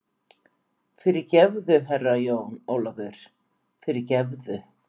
Fyrirgefðu, Herra Jón Ólafur, fyrirgefðu.